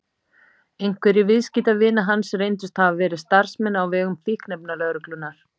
Einhverjir viðskiptavina hans reyndust hafa verið starfsmenn á vegum fíkniefnalögreglunnar.